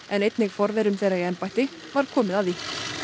en einnig forverum þeirra í embættum var komið að því